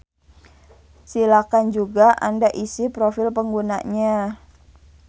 Silakan juga anda isi profil penggunanya.